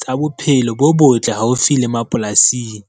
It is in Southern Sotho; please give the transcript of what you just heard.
tsa bophelo bo botle haufi le mapolasing.